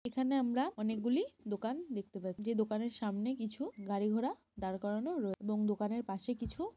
এখানে আমরা অনেকগুলি দোকান দেখতে পাচ্ছি। যে দোকানের সামনে কিছু গাড়ি ঘোড়া দার করানো রয়েছে এবং দোকানের পাশে কিছু--